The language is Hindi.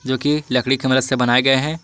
जो की लकड़ी की मदद से बनाए गए हैं।